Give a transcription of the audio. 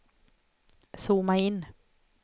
zooma in